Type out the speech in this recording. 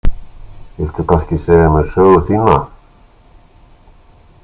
Viltu kannski segja mér sögu þína?